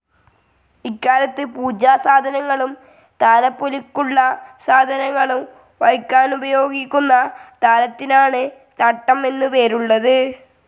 ഇക്കാലത്ത് പൂജാസാധനങ്ങളും താലപ്പൊലിക്കുള്ള സാധനങ്ങളും വയ്ക്കാനുപയോഗിക്കുന്ന താലത്തിനാണ് തട്ടം എന്നു പേരുള്ളത്.